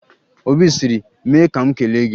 Obi sịrị 'mee ka m kelee gị'